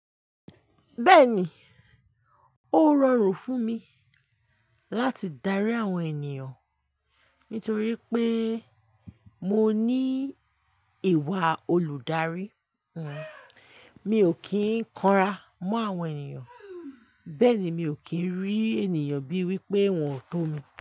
Bẹ́ẹ̀ni, ó rọrùn fún mi láti darí àwọn ènìyàn nítorí pé mo ní ìwà olùdarí. Mi ò kí ń kanra mọ́ àwọn ènìyàn, bẹ́ẹ̀ ni mi ò kí ń rí ènìyàn bíi wípé wón tó mi.